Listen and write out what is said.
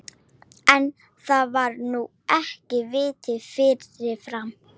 En, það var nú ekki vitað fyrirfram!